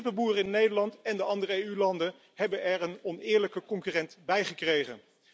De kippenboeren in Nederland en de andere EU landen hebben er een oneerlijke concurrent bijgekregen.